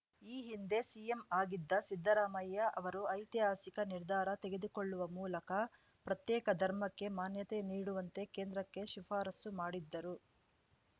ಈ ಹಿಂದೆ ಸಿಎಂ ಆಗಿದ್ದ ಸಿದ್ದರಾಮಯ್ಯ ಅವರು ಐತಿಹಾಸಿಕ ನಿರ್ಧಾರ ತೆಗೆದುಕೊಳ್ಳುವ ಮೂಲಕ ಪ್ರತ್ಯೇಕ ಧರ್ಮಕ್ಕೆ ಮಾನ್ಯತೆ ನೀಡುವಂತೆ ಕೇಂದ್ರಕ್ಕೆ ಶಿಫಾರಸ್ಸು ಮಾಡಿದ್ದರು